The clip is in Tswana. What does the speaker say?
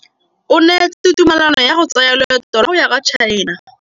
O neetswe tumalanô ya go tsaya loetô la go ya kwa China.